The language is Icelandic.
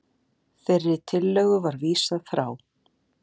Þeirri tillögu var vísað frá